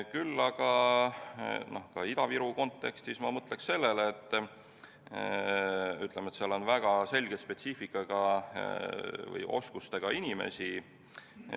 Küll aga ma mõtleks Ida-Virumaa kontekstis sellele, et seal on üksjagu väga selge spetsiifika ja oskustega inimesi.